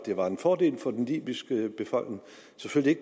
var en fordel for den libyske befolkning